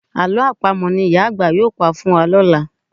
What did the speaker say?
Àlọ́ Àpamọ̀ ni ìyá àgbà yóò pa fún wa lọ́la